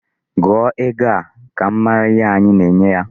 Gụọ ego a! Ka m mara ihe anyi na-enye ya.